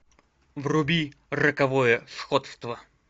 вруби роковое сходство